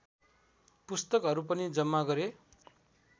पुस्तकहरू पनि जम्मा गरे